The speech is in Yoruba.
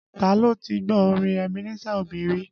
Ta ló ti gbọ́ orin Ebenezer Obey rí?